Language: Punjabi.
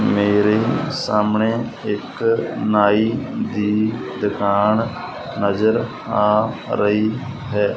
ਮੇਰੇ ਸਾਹਮਣੇ ਇੱਕ ਨਾਈ ਦੀ ਦੁਕਾਨ ਨਜ਼ਰ ਆ ਰਹੀ ਹੈ।